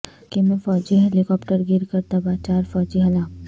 ترکی میں فوجی ہیلی کاپٹرگر کرتباہ چار فوجی ہلاک